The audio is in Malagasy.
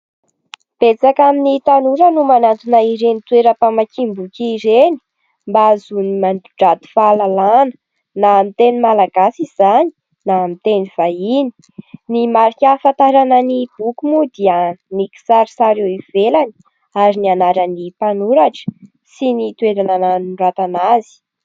Betsaka amin'ny tanora no manantona ireny toeram-pamakiam-boky ireny mba hahazoany mandranto fahalalàna, na amin' ny teny malagasy izany na amin' ny teny vahiny. Ny marika ahafantarana ny boky moa dia ny kisarisary eo ivelany ary ny anaran'ny mpanoratra sy ny toeranana nanoratana azy.